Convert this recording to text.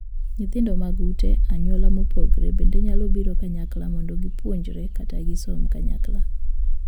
Nyithindo mag ute (anyuola) mopogore bende nyalo biro kanyakla mondo gipuonjre kata gisom kanyakla.